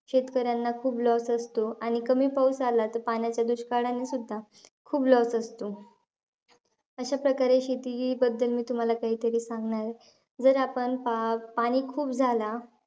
शेतकऱ्यांना खूप loss असतो. आणि कमी पाऊस आला त, पाण्याच्या दुष्काळाने सुद्धा खूप loss असतो. अशा प्रकारे, मी तुम्हाला शेतीबद्दल काहीतरी सांगणार आहे. जर आपण पा पाणी खूप झाला,